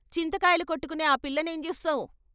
చింతకాయలు కొట్టుకునే ఆ పిల్ల నేం జూస్తావ్.